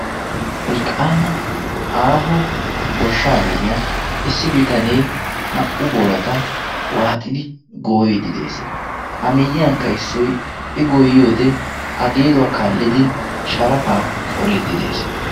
Wolqqaama aaho goshshaa gadiyan issi bitanee naa"u boorata waaxidi gooyiddi de'ees. a miyyiyankka issoy i gooyiyoode a geeduwaa kaallidi sharafaa qoriiddi de'ees.